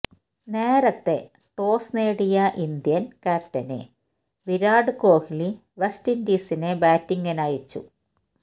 നേരത്തെ ടോസ് നേടിയ Indian captain Virat Kohli West ഇന്ഡീസിനെ ബാറ്റിങ്ങിനയച്ചു